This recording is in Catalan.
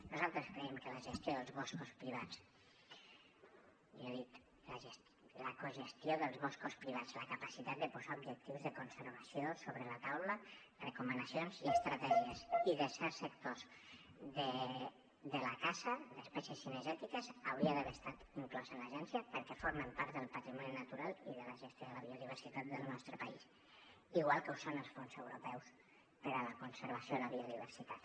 nosaltres creiem que la gestió dels boscos privats millor dit la cogestió dels boscos privats la capacitat de posar objectius de conservació sobre la taula recomanacions i estratègies i de certs sectors de la casa d’espècies cinegètiques hauria d’haver estat inclosa en l’agència perquè formen part del patrimoni natural i de la gestió de la biodiversitat del nostre país igual que ho són els fons europeus per a la conservació de la biodiversitat